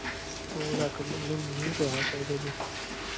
ਦੋ ਲਁਖ ਉਹਨੇ ਮੈਨੂੰ ਕਿਹਾ ਸ਼ਾਇਦ ਅਜੇ